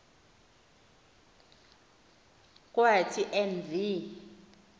kwathi en v